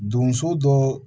Donso dɔ